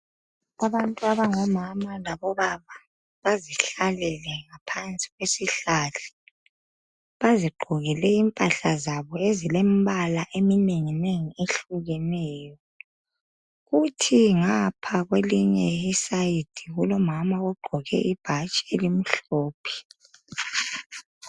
Abantu abangomama labobaba bazihlalele ngaphansi kwesihlahla bazigqokele impahla zabo ezilembala eminenginengi ehlukeneyo kuthi ngapha kwelinye icele kulomama ogqoke ibhatshi elimhlophe